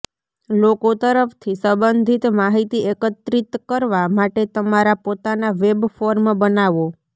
લોકો તરફથી સંબંધિત માહિતી એકત્રિત કરવા માટે તમારા પોતાના વેબ ફોર્મ બનાવો